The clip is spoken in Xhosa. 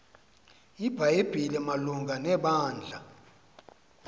ibhayibhile malunga nebandla